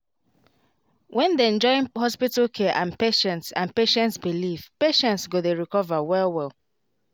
when dem join hospital care and patients and patients belief patients go dey recover well well